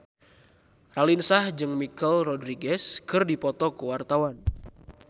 Raline Shah jeung Michelle Rodriguez keur dipoto ku wartawan